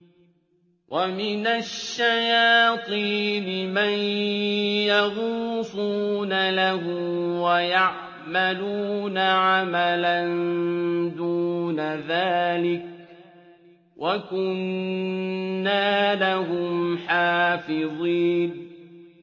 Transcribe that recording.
وَمِنَ الشَّيَاطِينِ مَن يَغُوصُونَ لَهُ وَيَعْمَلُونَ عَمَلًا دُونَ ذَٰلِكَ ۖ وَكُنَّا لَهُمْ حَافِظِينَ